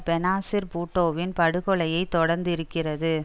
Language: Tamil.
பெனாசீர் பூட்டோவின் படு கொலையை தொடர்ந்து இருக்கிறது